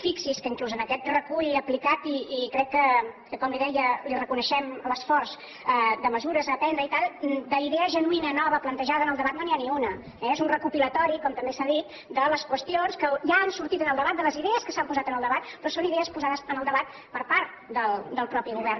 fixi’s que inclús en aquest recull aplicat i crec que com li deia li reconeixem l’esforç de mesures a prendre i tal d’idea genuïna nova plantejada en el debat no n’hi ha ni una eh és un recopilatori com també s’ha dit de les qüestions que ja han sortit en el debat de les idees que s’han posat en el debat però són idees posades en el debat per part del mateix govern